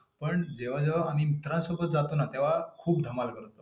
पण जेव्हा जेव्हा आम्ही मित्रासोबत जातो ना, तेंव्हा खूप धमाल करतो.